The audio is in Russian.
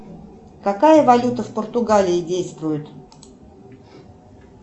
какая валюта в португалии действует